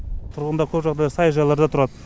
тұрғындар көп жағдайда саяжайларда тұрады